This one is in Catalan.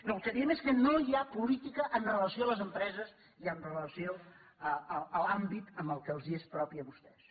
no el que entenem és que no hi ha política amb relació a les empreses i amb relació a l’àmbit que els és propi a vostès